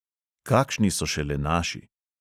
Kakšni so šele naši.